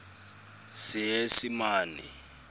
seesimane